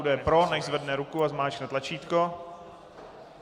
Kdo je pro, nechť zvedne ruku a zmáčkne tlačítko.